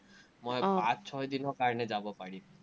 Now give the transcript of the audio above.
ছয়দিনৰ কাৰণে যাব পাৰিম।